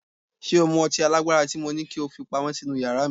Ṣé o mú ọtí alágbára tí mo ní kí ó fi pamọ́ sínú yàrá mi?